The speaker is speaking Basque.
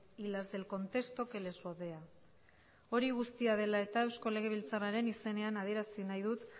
y las del contexto que les rodea hori guztia dela eta eusko legebiltzarraren izenean adierazi nahi dut